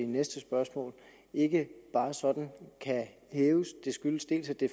næste spørgsmål ikke bare sådan kan hæves det skyldes dels at det